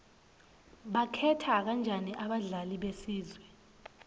bakhetha kanjani abadlali besizwe